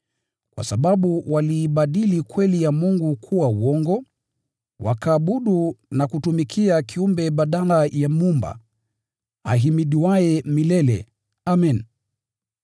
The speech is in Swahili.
Kwa sababu waliibadili kweli ya Mungu kuwa uongo, wakaabudu na kutumikia kiumbe badala ya Muumba, ahimidiwaye milele! Amen.